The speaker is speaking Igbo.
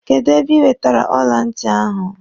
Kedụ ebe ị wetere ọla ntị ahụ?